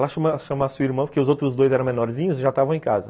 Vai lá chamar sua irmã, porque os outros dois eram menorzinhos e já estavam em casa.